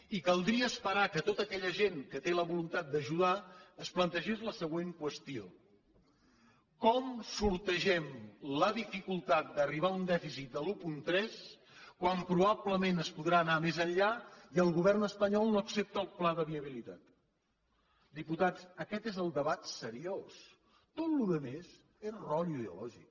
i caldria esperar que tota aquella gent que té la voluntat d’ajudar es plantegés la següent qüestió com sortegem la dificultat d’arribar a un dèficit de l’un coma tres quan probablement es podrà anar més enllà i el govern espanyol no accepta el pla de viabilitat diputats aquest és el debat seriós tota la resta és rotllo ideològic